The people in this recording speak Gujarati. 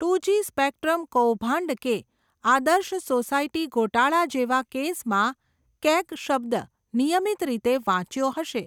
ટુજી સ્પેકટ્રમ કૌભાંડ કે, આદર્શ સોસાયટી ગોટાળા જેવા કેસમાં, કેગ શબ્દ નિયમિત રીતે વાંચ્યો હશે.